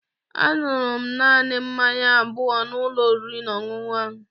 Aṅụrụ m naanị mmanya abụọ n'ụlọ oriri na ọṅụṅụ ahụ.